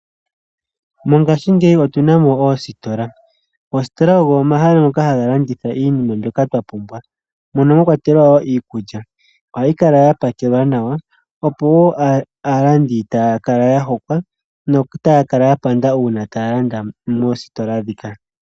Mongashingeyi otu na mo oositola. Oositola odho omahala ngoka haga landitha iinima mbyoka twa pumbwa mono mwakwatelwa wo iikulya. Ohayi kala ya pakelwa nawa opo aalandi taya kala ya hokwa, notaya kala ya panda uuna taya landa moositola ndhika.